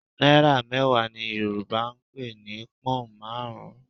Náírà mẹ́wàá ni Yorùbá ń pè ní pọ́hùn marun-un